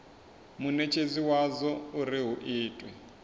munetshedzi wadzo uri hu itwe